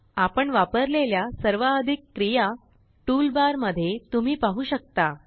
आपण वापरलेल्या सर्वाधिक क्रिया टूल बार मध्ये तुम्ही पाहु शकता